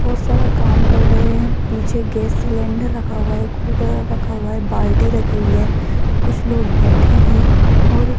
बहोत सारा काम कर रहे हैं पीछे गैस सिलेंडर रखा हुआ है रखा हुआ है बाल्टी रखी हुई है कुछ लोग बैठे हैं और --